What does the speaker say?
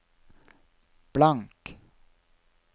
blank